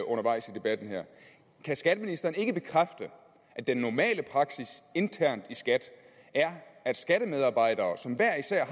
undervejs i debatten her kan skatteministeren ikke bekræfte at den normale praksis internt i skat er at skattemedarbejdere som hver især